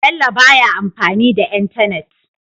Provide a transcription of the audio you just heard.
Bello baya amfani da entanet